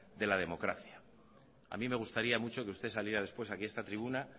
de la democracia a mí me gustaría mucho que usted saliera después aquí a esta tribuna